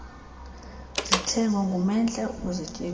zithengwe ngumendle ukuzityebisa